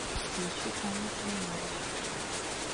включи анна семенович